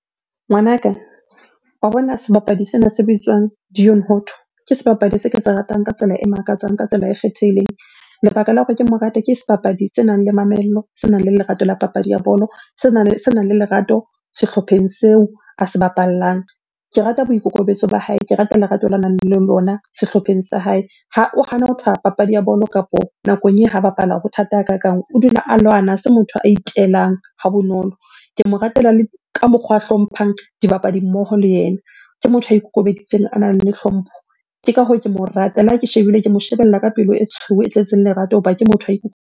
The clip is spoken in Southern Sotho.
Ngwanaka, wa bona sebapadi sena se bitswang ke sebapadi se ke se ratang ka tsela e makatsang, ka tsela e kgethehileng. Lebaka la hore ke mo rate ke sebapadi senang le mamello, senang le lerato la papadi ya bolo, senang le lerato sehlopheng seo a se bapallang. Ke rata boikokobetso ba hae, ke rata lerato la nang le lona sehlopheng sa hae. O hana ho papadi ya bolo kapo nakong eo ha bapala ho thata hakakang, o dula a lwana, ha se motho a itelang ha bonolo. Ke mo ratela le ka mokgwa hlomphang dibapadi mmoho le yena. Ke motho ya ikokobeditseng, a nang le hlompho, ke ka hoo ke mo rata. Le ha ke shebile, ke mo shebella ka pelo e tshweu, e tletseng lerato hoba ke motho .